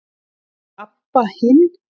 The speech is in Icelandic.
Hvar er Abba hin?